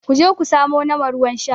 ku je ku samo nama ruwan Sha!